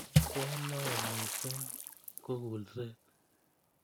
Ke neo mising ko kulset.